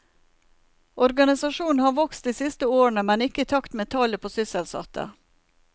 Organisasjonen har vokst de siste årene, men ikke i takt med tallet på sysselsatte.